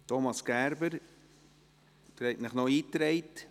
Thomas Gerber, Sie haben sich in die Rednerliste eingetragen?